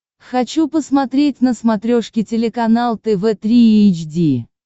хочу посмотреть на смотрешке телеканал тв три эйч ди